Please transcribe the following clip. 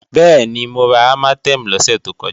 Bẹ́ẹ̀ni, mo ra Armatem lọ́sẹ̀ tó kọjá